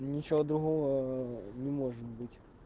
ничего другого ээ не может быть